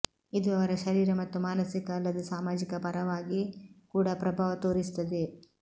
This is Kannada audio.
ಇದು ಅವರ ಶರೀರ ಮತ್ತು ಮಾನಸಿಕ ಅಲ್ಲದೆ ಸಾಮಾಜಿಕ ಪರವಾಗಿ ಕೂಡ ಪ್ರಭಾವ ತೋರಿಸುತ್ತದೆ